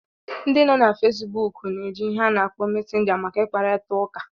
Ndị nọ na Fesbuk na-eji ihe ana akpo Mesenga maka ịkparịta ụka